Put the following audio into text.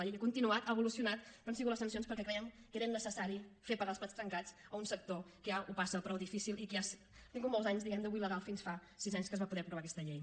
la llei ha continuat ha evolucionat però han sigut les sancions perquè crèiem que era innecessari fer pagar els plats trencats a un sector que ja ho passa prou difícilment i que ja ha tingut molts anys diguem ne de buit legal fins fa sis anys en què es va poder aprovar aquesta llei